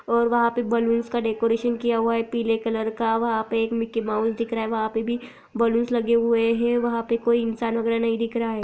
और वह पर बैलून्स का डेकोरेशन किया हुआ है पीले कलर का वहा पर मिक्की माउस दिख रहा है वहा पर भी बलूनस लगे हुए वहा पे कोई इन्सान वगेरा नहीं दिख रहा है।